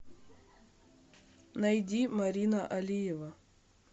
найди марина алиева